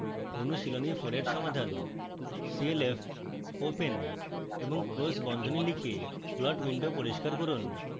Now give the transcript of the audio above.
অনুশীলনী 4 এর সমাধান: